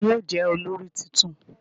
Ta ni yóò jẹ́ olórí tuntun?